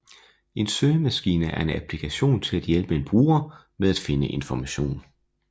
En søgemaskine er en applikation til at hjælpe en bruger med at finde information